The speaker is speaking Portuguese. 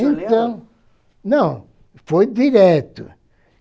Então, não, foi direto.